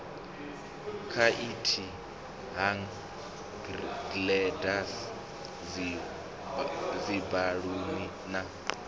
khaithi hang gliders dzibaluni na